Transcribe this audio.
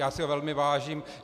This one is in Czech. Já si ho velmi vážím.